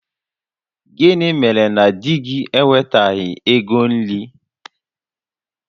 Gịnị mere na di gị ewetaghị ego nri?